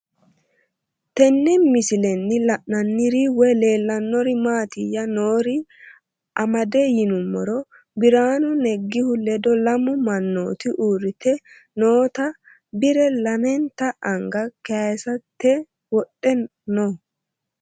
Tenne misilenni la'nanniri woy leellannori maattiya noori amadde yinummoro biraannu negihu ledo lamu manootti uuritte nootta bire lameenta anga kayiissette wodhe noo